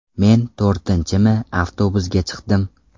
Men to‘rtinchimi avtobusga chiqdim.